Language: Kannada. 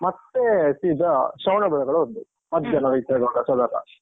ಮತ್ತೆ ಸೀದ ಶ್ರವಣಬೆಳಗೊಳ ಹೋದ್ದು. ಮಧ್ಯಾಹ್ನ .